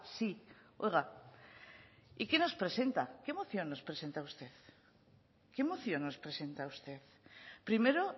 sí oiga y qué nos presenta qué moción nos presenta usted qué moción nos presenta usted primero